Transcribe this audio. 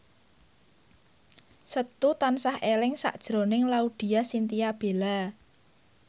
Setu tansah eling sakjroning Laudya Chintya Bella